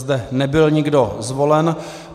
Zde nebyl nikdo zvolen.